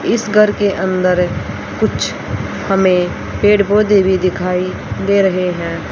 इस घर के अंदर कुछ हमें पेड़ पौधे भी दिखाई दे रहे हैं।